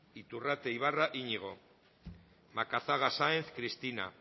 iturrate ibarra iñigo macazaga sáenz cristina